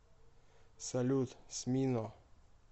салют смино